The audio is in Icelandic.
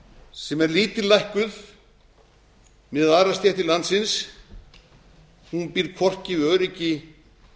sem er lítillækkuð miðað við aðrar stéttir landsins býr hvorki við öryggi